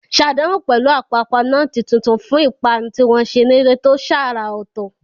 Ṣàdánwò pẹ̀lú àpapọ̀ nọ́ọ̀tì tuntun fún ìpanu tí wọ́n ṣe nílé tó ṣàrà ọ̀tọ̀.